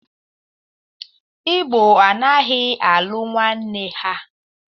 Igbo anaghị alụ nwanne ha.